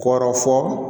Kɔrɔ fɔ